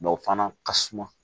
Dɔ o fana ka suma